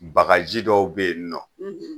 Baga ji dɔw be yen nɔ